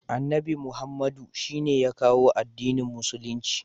Annabi Muhammadu shine ya kawo addinin musulunci.